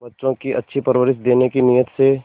बच्चों को अच्छी परवरिश देने की नीयत से